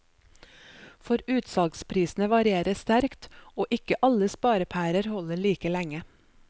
For utsalgsprisene varierer sterkt, og ikke alle sparepærer holder like lenge.